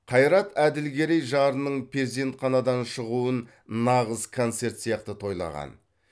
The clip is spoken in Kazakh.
қайрат әділгерей жарының перзентханадан шығуын нағыз концерт сияқты тойлаған